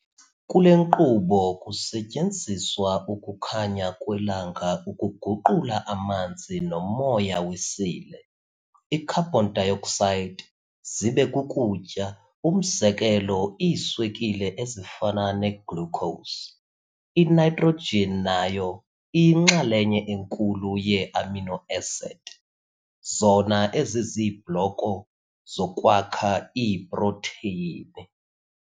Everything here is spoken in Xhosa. Kule nkqubo, kusetyenziswa ukukhanya kwelanga ukuguqula amanzi nomoya wesile, i-carbon dioxide, zibe kukutya umzekelo iiswekile ezifana ne-glucose. I-nitrogen nayo iyinxalenye enkulu yee-amino acid, zona eziziibloko zokwakha iiprotheyini.